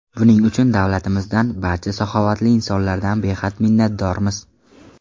Buning uchun davlatimizdan, barcha saxovatli insonlardan behad minnatdormiz.